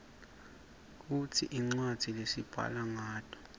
kungti rcwadzi lesibhala nqato